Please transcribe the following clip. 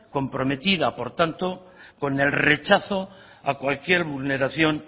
comprometida por tanto con el rechazo a cualquier vulneración